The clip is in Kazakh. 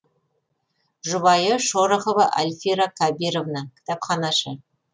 жұбайы шорохова альфира кабировна кітапханашы